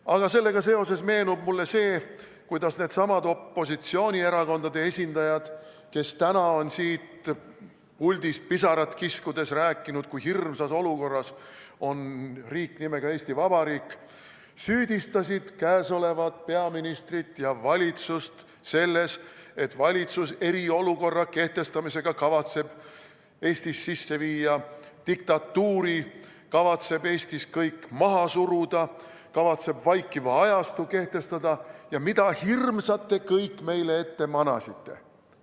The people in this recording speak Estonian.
Aga sellega seoses meenub mulle see, kuidas needsamad opositsioonierakondade esindajad, kes täna on siit puldist pisarat kiskudes rääkinud, kui hirmsas olukorras on riik nimega Eesti Vabariik, süüdistasid käesolevat peaministrit ja valitsust selles, et valitsus eriolukorra kehtestamisega kavatseb Eestis sisse viia diktatuuri, kavatseb Eestis kõik maha suruda, kavatseb vaikiva ajastu kehtestada ja mida hirmsat te kõik meile ette manasite.